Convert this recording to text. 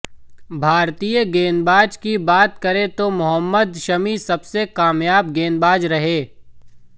भारतीय गेंदबाजी की बात करें तो मोहम्मद शमी सबसे कामयाब गेंदबाज रहे